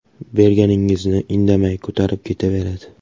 Berganingizni indamay ko‘tarib ketaveradi.